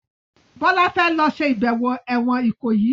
Bola fè ló ṣe ibẹwo èwòn Ikoyi.